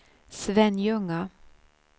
Svenljunga